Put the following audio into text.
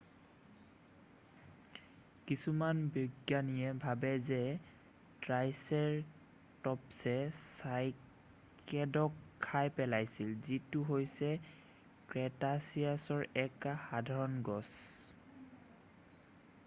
কিছুমান বিজ্ঞানীয়ে ভাবে যে ট্ৰাইচেৰ'টপ্‌ছে চাইকেডক খাই পেলাইছিল যিটো হৈছে ক্ৰেটাছিয়াছৰ এক সাধাৰণ গছ।